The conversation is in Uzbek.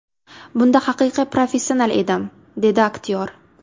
Bunda haqiqiy professional edim”, dedi aktyor.